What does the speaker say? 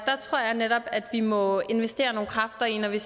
netop vi må investere nogle kræfter i at vi